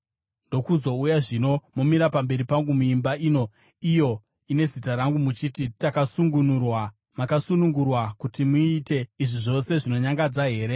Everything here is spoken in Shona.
ndokuzouya zvino momira pamberi pangu muimba ino, iyo ine Zita rangu, muchiti, “Takasunungurwa,” makasunungurwa kuti muite izvi zvose zvinonyangadza here?